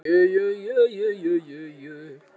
Mjólkin farin að vætla úr brjóstunum.